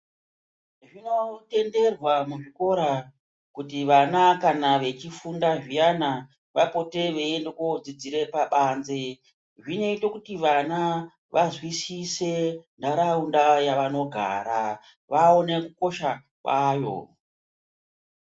Zvinotenderwa muzvikora kuti vana kana vechifunda zviyana vapote veiende kodzidzira pabanze zvinoita kuti vana vanzwisise nharaunda yavanogara, vaone kukosha kwayo.